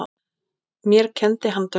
Mér kenndi hann dönsku.